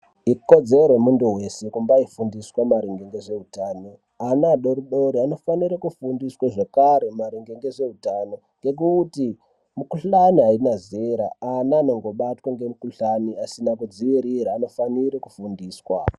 Ikodzero yemuntu weshe kubaifundiswa maringe ngezveutano ana adodori anofanire kufundiswa zvakare maringe ngezveutano ngekuti mukuhlai haina zera ana anongobatwa nemikuhlani asina kudziirira aofanire kufundiswa .